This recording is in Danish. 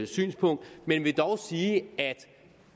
synspunkt men vil dog sige